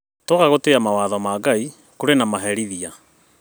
Twaga gũtĩĩa mawatho ma Ngai kũrĩ na maherithia